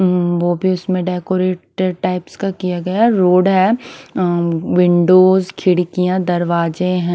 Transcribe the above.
हम्म वो भी उसमें डेकोरेटेड टाइप्स का किया गया है रोड है विंडोस खिड़कियाँ दरवाजे हैं ।